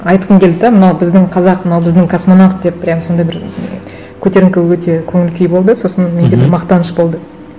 айтқым келді де мынау біздің қазақ мынау біздің космонавт деп прямо сондай бір көтеріңкі өте көңіл күй болды сосын менде бір мақтаныш болды